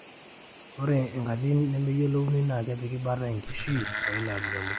ore enkatitin nemeiyiolounoi naa kepik bata enkishui olairemok